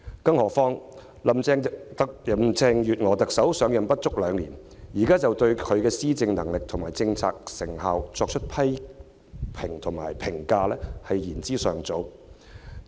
更何況，林鄭月娥特首上任不足兩年，現在就對她的施政能力和政策成效作出批評，便是言之尚早。